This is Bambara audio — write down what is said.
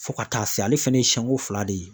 Fo ka taa se ale fɛnɛ ye siɲɛko fila de ye